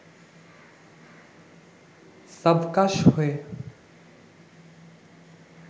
সাবকাশ হয়ে